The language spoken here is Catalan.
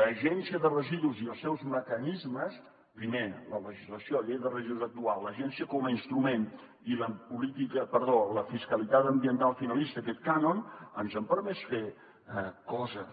l’agència de residus i els seus mecanismes primer la legislació llei de residus actual l’agència com a instrument i la fiscalitat ambiental finalista aquest cànon ens han permès fer coses